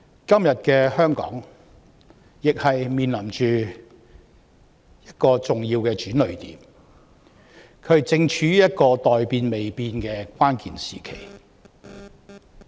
今天的香港亦面臨重要的轉捩點，正處於一個待變未變的關鍵時期。